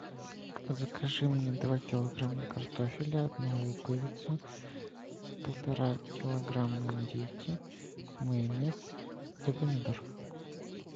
закажи мне два килограмма картофеля одну луковицу полтора килограмма индейки майонез и помидор